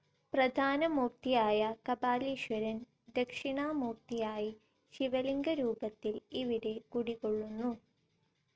പ്രധാന മൂർത്തിയായ കപാലിശ്വരൻ ദക്ഷിണാമൂർത്തിയായി ശിവലിംഗരൂപത്തിൽ ഇവിടെ കുടികൊള്ളുന്നു.